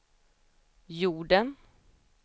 jorden